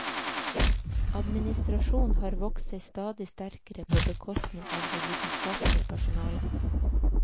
Administrasjonen har vokst seg stadig sterkere på bekostning av det vitenskapelige personale.